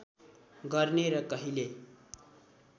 गर्ने र कहिल्यै